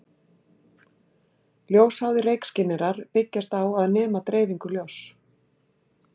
Ljósháðir reykskynjarar byggjast á að nema dreifingu ljóss.